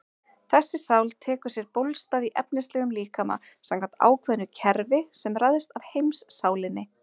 Þessi sál tekur sér bólstað í efnislegum líkama samkvæmt ákveðnu kerfi sem ræðst af heimssálinni.